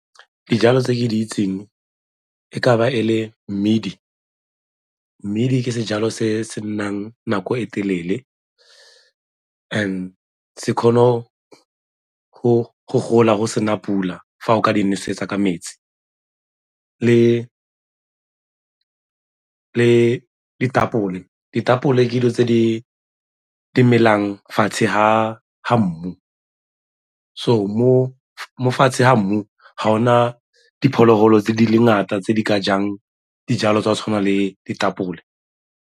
Dijalo tse ke di itseng e ka ba e le mmidi, mmidi ke sejalo se se nnang nako e telele and se kgona go gola go se na pula fa o ka di nosetsa ka metsi, le ditapole, ditapole ke dilo tse di melang fatshe ga ga mmu. So, mo fatshe ga mmu ga go na diphologolo tse di le ngata tse di ka jang dijalo tse di tshwanang le ditapole.